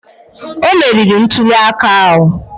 O meriri ntuli aka ahụ